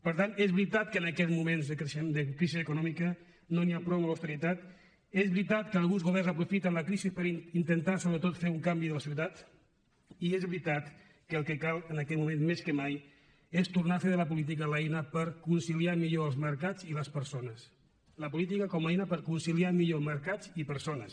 per tant és veritat que en aquests moments de crisi econòmica no n’hi ha prou amb l’austeritat és veritat que alguns governs aprofiten la crisi per intentar sobretot fer un canvi de la societat i és veritat que el que cal en aquest moment més que mai és tornar a fer de la política l’eina per conciliar millor els mercats i les persones la política com a eina per conciliar millor mercats i persones